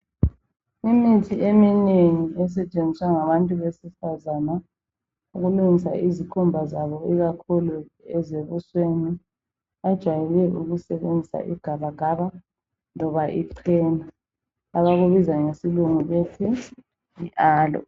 imithi eminengi esetshenziswa ngabantu besifazana ukulungisa izikhumba zabo ikakhulu ezebusweni bajayele ukusebenzisa igabagaba loba ichena abakubiza ngesilungu bathi yi aloe